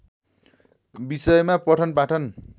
विषयमा पठन पाठन